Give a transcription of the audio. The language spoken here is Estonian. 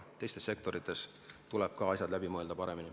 Ka teistes sektorites tuleb asjad paremini läbi mõelda.